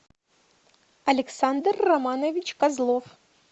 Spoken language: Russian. александр романович козлов